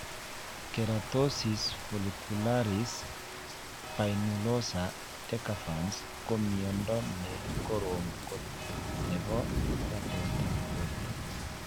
Keratosis follicularis spinulosa decalvans ko miondo nekorom kot nepo magatet ap porto.